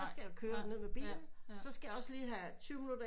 At skulle køre ned med bilen så skal jeg også lige have tyve minutter